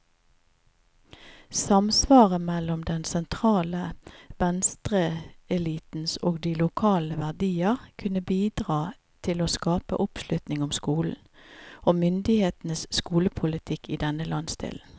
Samsvaret mellom den sentrale venstreelitens og de lokale verdier kunne bidra til å skape oppslutning om skolen, og myndighetenes skolepolitikk i denne landsdelen.